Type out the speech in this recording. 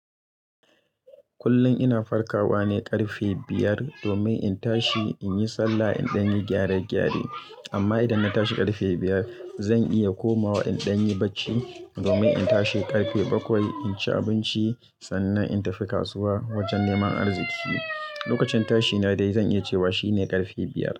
Kullum ina farkawa ne ƙarfe biyar domin in tashi in yi sallah, in ɗan yi gyare-gyare. Amma idan na tashi ƙarfe biyar, zan iya komawa in dai yi bacci domin in tashi ƙarfe bakwai in ci abinci sannan in tafi kasuwa wajen neman arziki. Lokacin tashina dai zan iya cewa shine ƙarfe biyar.